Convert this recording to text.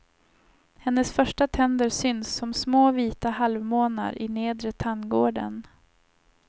Hennes första tänder syns som små vita halvmånar i nedre tandgården.